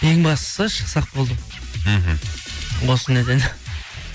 ең бастысы шықсақ болды ғой мхм осы неден